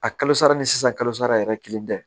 A kalo sara ni sisan kalosara yɛrɛ kelen tɛ